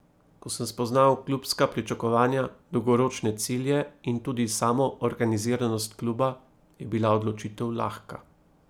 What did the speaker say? Ko sem spoznal klubska pričakovanja, dolgoročne cilje in tudi samo organiziranost kluba, je bila odločitev lahka.